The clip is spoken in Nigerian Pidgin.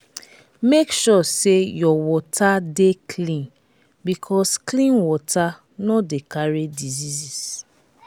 make sure say your water de clean because clean water no de carry diseases